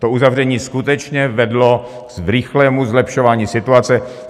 To uzavření skutečně vedlo k rychlému zlepšování situace.